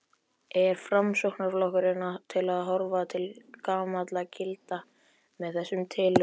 Er Framsóknarflokkurinn að horfa til gamalla gilda með þessum tillögum?